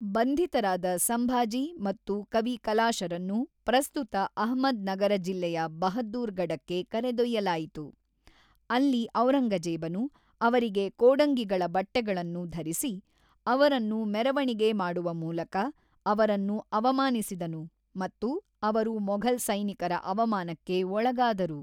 ಬಂಧಿತರಾದ ಸಂಭಾಜಿ ಮತ್ತು ಕವಿ ಕಲಾಶರನ್ನು ಪ್ರಸ್ತುತ ಅಹ್ಮದ್ ನಗರ ಜಿಲ್ಲೆಯ ಬಹದ್ದೂರ್‌ ಗಡಕ್ಕೆ ಕರೆದೊಯ್ಯಲಾಯಿತು; ಅಲ್ಲಿ ಔರಂಗಜೇಬನು ಅವರಿಗೆ ಕೋಡಂಗಿಗಳ ಬಟ್ಟೆಗಳನ್ನು ಧರಿಸಿ ಅವರನ್ನು ಮೆರವಣಿಗೆ ಮಾಡುವ ಮೂಲಕ ಅವರನ್ನು ಅವಮಾನಿಸಿದನು ಮತ್ತು ಅವರು ಮೊಘಲ್ ಸೈನಿಕರ ಅವಮಾನಕ್ಕೆ ಒಳಗಾದರು.